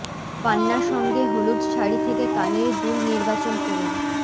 পান্না সঙ্গে হলুদ শাড়ি থেকে কানের দুল নির্বাচন করুন